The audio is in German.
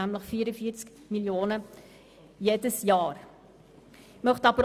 Diese beträgt jedes Jahr 44 Mio. Franken.